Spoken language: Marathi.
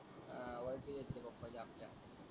ओळखीचे होते पप्पाच्या आपल्या.